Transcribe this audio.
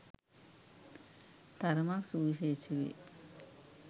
තරමක් සුවිශේෂී වේ